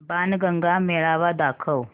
बाणगंगा मेळावा दाखव